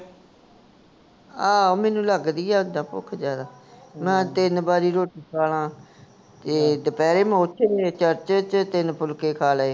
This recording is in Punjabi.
ਆਹੋ ਮੇਨੂੰ ਲਗਦੀ ਹੈ ਉੱਦਾਂ ਭੁੱਖ ਜ਼ਿਆਦਾ, ਮੈਂ ਤਿੰਨ ਬਾਰੀ ਰੋਟੀ ਖਾਲਾਂ, ਤੇ ਦੁਪਹਿਰੇ ਮੈਂ ਓਥੇ ਚਰਚ ਚ ਤਿੰਨ ਫੁਲਕੇ ਖਾਲੇ